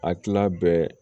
A kilan bɛɛ